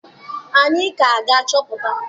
Anyị ka ga-achọpụta.